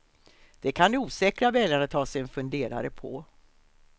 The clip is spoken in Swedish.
Det kan de osäkra väljarna ta sig en funderare på.